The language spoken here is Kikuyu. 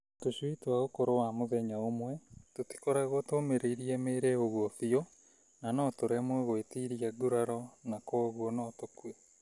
Tũcui twa ũkũrũ wa mũthenya ũmwe tũtikoragwo tũmĩrĩirie mĩĩrĩ ũguo biũ na nĩtũremagwo gwĩtiria nguraro na kwoguo no tũkue .